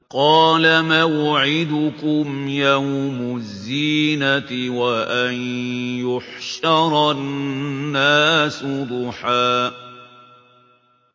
قَالَ مَوْعِدُكُمْ يَوْمُ الزِّينَةِ وَأَن يُحْشَرَ النَّاسُ ضُحًى